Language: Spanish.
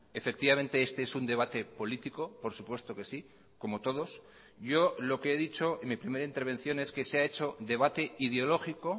efectivamente este es un debate político por supuesto que sí como todos yo lo que he dicho en mi primera intervención es que se ha hecho debate ideológico